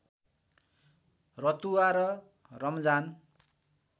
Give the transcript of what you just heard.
रतुवा र रमजान